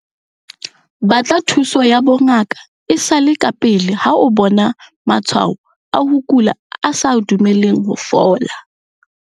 Batla thuso ya bongaka e sa le kapele ha o bona matshwao a ho kula a sa dumeleng ho fola.